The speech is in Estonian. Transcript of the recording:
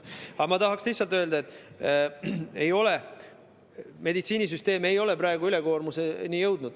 Aga ma tahan lihtsalt öelda, et meditsiinisüsteem ei ole praegu ülekoormuseni jõudnud.